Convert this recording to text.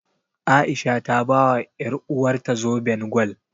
A'isha ta bawa ƴaruwarta zoben gwal.